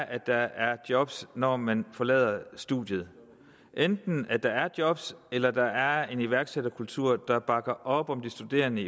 at der er job når man forlader studiet enten at der er job eller at der er en iværksætterkultur der bakker op om de studerende